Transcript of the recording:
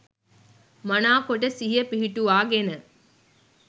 මනා කොට සිහිය පිහිටුවාගෙන